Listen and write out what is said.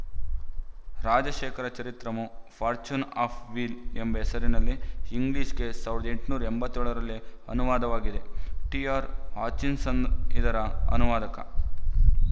Rajashekhara Charitramu fortune of wheel ಎಂಬ ಹೆಸರಿನಲ್ಲಿ ಇಂಗ್ಲಿಶ‍ಗೆ ಸಾವಿರದ ಎಂಟುನೂರ ಎಂಬತ್ತ್ ಏಳರಲ್ಲೇ ಅನುವಾದವಾಗಿದೆ ಟಿಆರ್ ಹಾಚಿನ್‍ಸನ್ ಇದರ ಅನುವಾದಕ